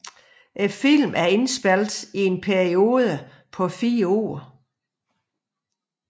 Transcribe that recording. Filmen er indspillet over en periode på fire år